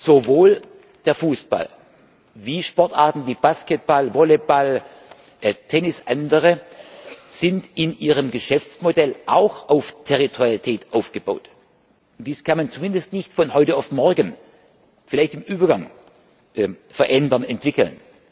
Sowohl der Fußball wie Sportarten wie Basketball, Volleyball, Tennis und andere sind in ihrem Geschäftsmodell auch auf Territorialität aufgebaut. Dies kann man zumindest nicht von heute auf morgen, vielleicht im Übergang, verändern, entwickeln.